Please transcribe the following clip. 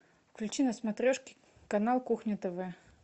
включи на смотрешке канал кухня тв